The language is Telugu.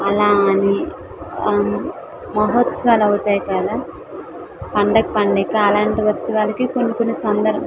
అలా అని ఆ మహోత్సవాలు అవుతాయి కదా పండగ పండక్కి అలాంటి ఉత్సవాలకి కొన్ని కొన్ని సంబరాల్ --